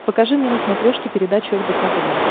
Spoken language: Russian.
покажи мне на смотрешке передачу рбк тв